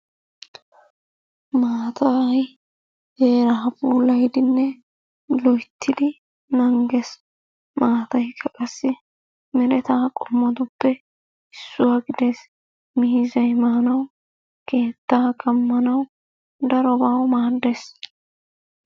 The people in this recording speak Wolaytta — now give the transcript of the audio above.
Maatay heera puulayidinne loytyidi nanghees. Mataykka qassi mereta qommotuppe issuwaa gidees. Miizay maanawu, keettaa kamanawu darobawu maaddees.